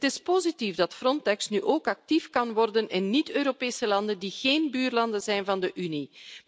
Het is positief dat Frontex nu ook actief kan worden in niet-Europese landen die geen buurlanden zijn van de Unie.